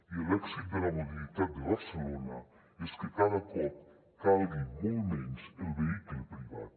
i l’èxit de la mobilitat de barcelona és que cada cop calgui molt menys el vehicle privat